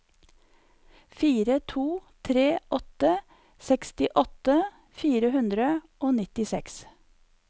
fire to tre åtte sekstiåtte fire hundre og nittiseks